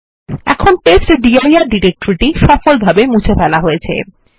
এখন testdir directory সফলভাবে মুছে ফেলা হয়েছে